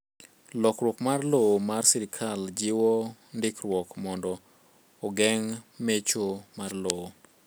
Lokruok mar lowo mar sirkal jiwo ndikruok mondo oongeng' mecho mar lowo